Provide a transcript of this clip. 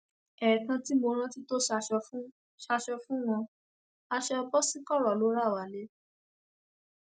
ẹẹkan tí mo rántí tó ṣaṣọ fún ṣaṣọ fún wọn aṣọ boṣikorò ló rà wálé